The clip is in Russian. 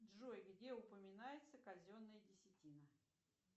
джой где упоминается казенная десятина